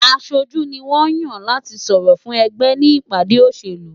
Aṣojú ni wọ́n ń yàn láti sọ̀rọ̀ fún ẹgbẹ́ ní ìpàdé olóṣèlú.